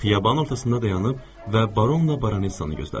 Xiyaban ortasında dayanıb və baronla baronesanı gözlədim.